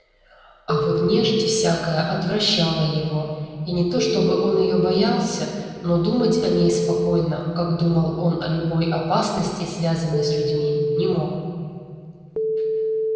а вот нежить всякая отвращала его и не то чтобы он её боялся но думать о ней спокойно как думал он о любой опасности связанной с людьми не мог